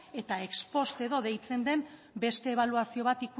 eta ex post edo deitzen den beste ebaluazio bat